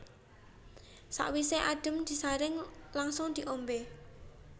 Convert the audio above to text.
Sawisé adhem disaring langsung diombé